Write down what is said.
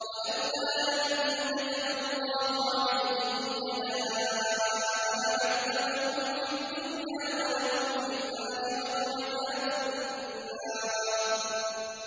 وَلَوْلَا أَن كَتَبَ اللَّهُ عَلَيْهِمُ الْجَلَاءَ لَعَذَّبَهُمْ فِي الدُّنْيَا ۖ وَلَهُمْ فِي الْآخِرَةِ عَذَابُ النَّارِ